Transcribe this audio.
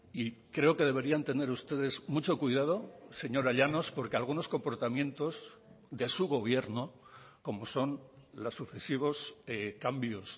y creo que deberían tener ustedes mucho cuidado señora llanos porque algunos comportamientos de su gobierno como son los sucesivos cambios